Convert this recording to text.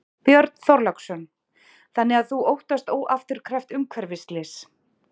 Björn Þorláksson: Þannig að þú óttast óafturkræft umhverfisslys?